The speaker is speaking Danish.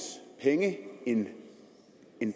penge end